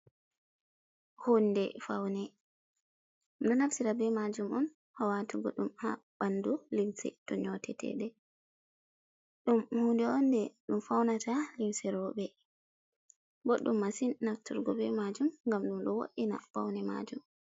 Hunde faune mda nafsira be majum on hawatugo dum ha bandu, limse to nyotetede dum hunde onde dum faunata limse robe boddum masin nafturgo be majum gam dum do wodina baune majum.